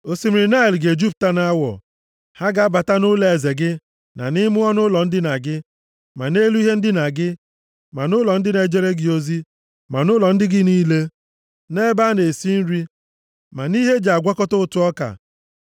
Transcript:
Osimiri Naịl ga-ejupụta nʼawọ. Ha ga-abata nʼụlọeze gị na nʼime ọnụụlọ ndina gị, ma nʼelu ihe ndina gị, ma nʼụlọ ndị na-ejere gị ozi, ma nʼụlọ ndị gị niile, na nʼebe a na-esi nri, ma nʼime ihe e ji agwakọta ụtụ ọka.